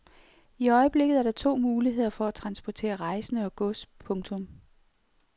I øjeblikket er der to muligheder for at transportere rejsende og gods. punktum